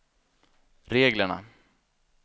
reglerna